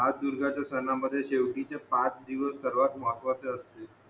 ह्याच दिवसाच्या सण मध्ये शेवटीचे पाच दिवस सर्वात महत्वाचे असतिल